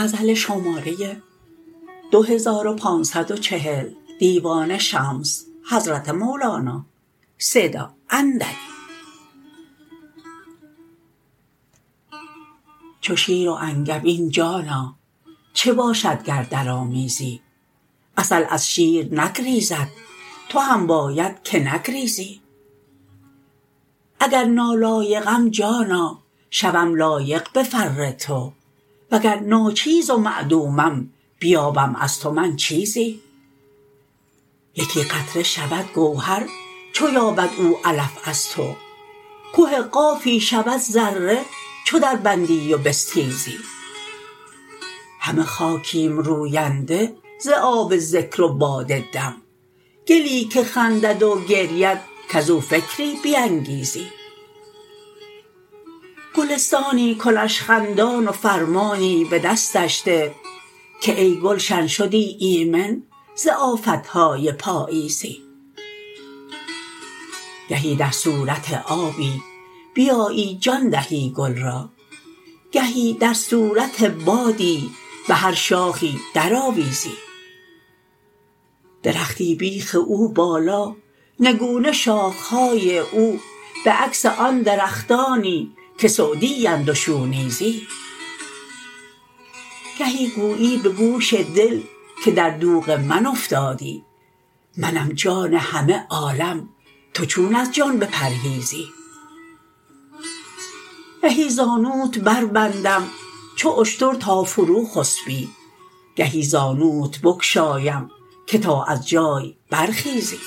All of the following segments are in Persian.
چو شیر و انگبین جانا چه باشد گر درآمیزی عسل از شیر نگریزد تو هم باید که نگریزی اگر نالایقم جانا شوم لایق به فر تو وگر ناچیز و معدومم بیابم از تو من چیزی یکی قطره شود گوهر چو یابد او علف از تو که قافی شود ذره چو دربندی و بستیزی همه خاکیم روینده ز آب ذکر و باد دم گلی که خندد و گرید کز او فکری بینگیزی گلستانی کنش خندان و فرمانی به دستش ده که ای گلشن شدی ایمن ز آفت های پاییزی گهی در صورت آبی بیایی جان دهی گل را گهی در صورت بادی به هر شاخی درآویزی درختی بیخ او بالا نگونه شاخه های او به عکس آن درختانی که سعدی اند و شونیزی گهی گویی به گوش دل که در دوغ من افتادی منم جان همه عالم تو چون از جان بپرهیزی گهی زانوت بربندم چو اشتر تا فروخسپی گهی زانوت بگشایم که تا از جای برخیزی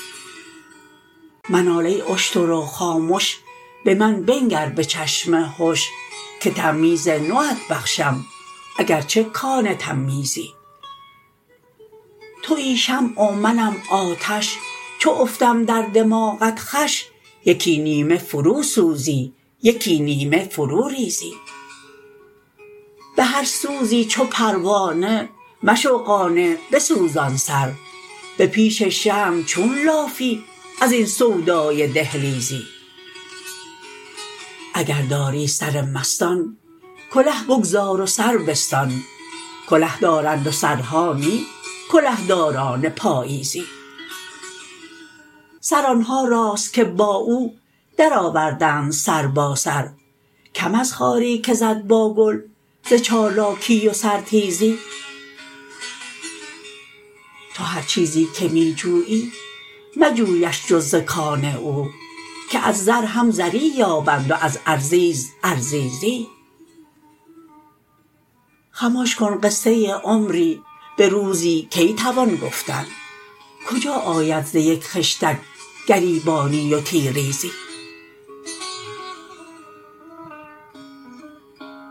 منال ای اشتر و خامش به من بنگر به چشم هش که تمییز نوت بخشم اگر چه کان تمییزی توی شمع و منم آتش چو افتم در دماغت خوش یکی نیمه فروسوزی یکی نیمه فروریزی به هر سوزی چو پروانه مشو قانع بسوزان سر به پیش شمع چون لافی این سودای دهلیزی اگر داری سر مستان کله بگذار و سر بستان کله دارند و سرها نی کلهداران پالیزی سر آن ها راست که با او درآوردند سر با سر کم از خاری که زد با گل ز چالاکی و سرتیزی تو هر چیزی که می جویی مجویش جز ز کان او که از زر هم زری یابند و از ارزیز ارزیزی خمش کن قصه عمری به روزی کی توان گفتن کجا آید ز یک خشتک گریبانی و تیریزی